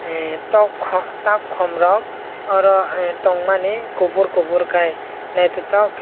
ah tok takom rok oro tongmani kopor kopor kei naitotok.